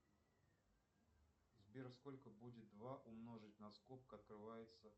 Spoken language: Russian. сбер сколько будет два умножить на скобка открывается